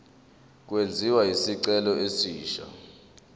kwenziwe isicelo esisha